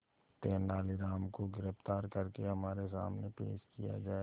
तेनालीराम को गिरफ्तार करके हमारे सामने पेश किया जाए